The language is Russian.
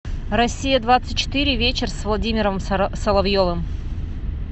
россия двадцать четыре вечер с владимиром соловьевым